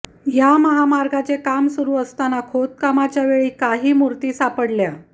या महामार्गाचे काम सुरू असताना खोदकामाच्या वेळी काही मूर्ती सापडल्या